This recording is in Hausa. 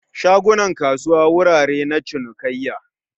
shagunan kasuwa wurare na cinikayya